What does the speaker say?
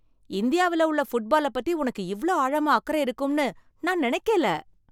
இந்தியாவில உள்ள ஃபுட்பால பத்தி உனக்கு இவ்ளோ ஆழமா அக்கறை இருக்கும்னு நான் நினைக்கல.